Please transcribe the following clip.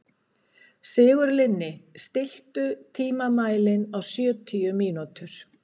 Sigurlinni, stilltu tímamælinn á sjötíu mínútur.